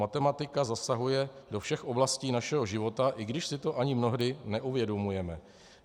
Matematika zasahuje do všech oblastí našeho života, i když si to ani mnohdy neuvědomujeme.